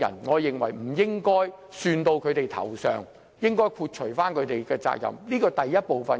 我認為不應算到他們頭上，應剔除他們的責任。